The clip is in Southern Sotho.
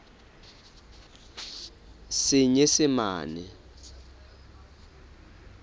senyesemane